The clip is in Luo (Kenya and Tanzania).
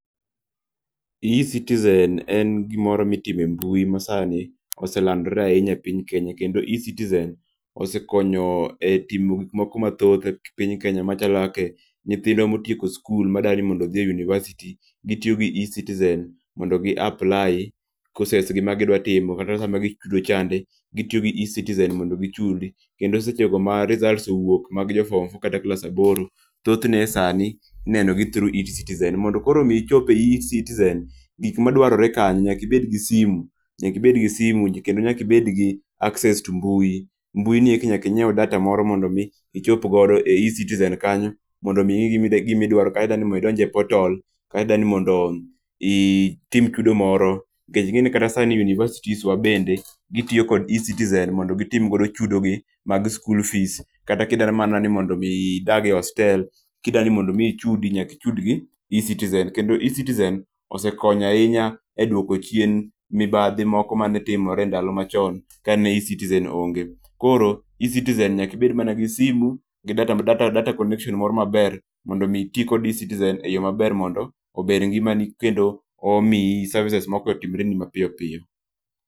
eCitizen en gimoro mitime mbui ma sani oselandre ainya e piny Kenya, kendo eCitizen osekonyo e timo gik moko mathoth e piny Kenya, machalo kake nyithindwa motieko skul madwani odhie university, gitio gi eCitizen mondo gi apply courses gi magidwa timo. Kata sama gidwa chudo chande gitio gi eCitizen mondo gichudi, kendo seche go ma results owuok magjo form four kata joklas aboro, thothne e sani ineno through eCitizen. Mondo koro mi ichop e eCitizen, gik madwarore kanyo, nyaki bed gi simu nyaki bed gi simu kendo nyai bed gi access to mbui. Mbui nieki nyaki nyieu data moro mondo mii ichop godo e eCitizen kanyo mondo mii ing'i gimida gimidwaro, kata idwani mondo idonj e portal, kati dwani mondo itim chudo moro. Nkech ing'eni kata sani universities wa bende gitio kod eCitizen mondo gitim godo chudogi mag school fees, kata kidwaro mana ni mondo mii idage hostel, kidwani mondo mii ichudi nyaki chudgi eCitizen, kendo eCitizen osekonyo ainya e dwoko chien mibadhi moko mane timre e ndalo machon kane eCitizen onge. Koro eCitizen nyaki bed mana gi simu gi data m data data connection moro maber mondo mii itii kod eCitizen e yoo maber mondo ober ngimani kendo omi services moko otimreni mapiopio.